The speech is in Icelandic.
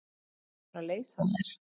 Þarf ekki að fara leysa þær?